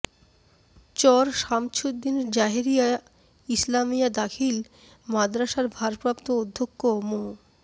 চর শামছুদ্দিন জাহেরিয়া ইসলামিয়া দাখিল মাদরাসার ভারপ্রাপ্ত অধ্যক্ষ মো